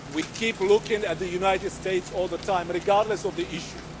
We keep looking at the United States all the time, regardless of the issue.